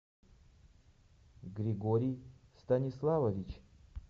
григорий станиславович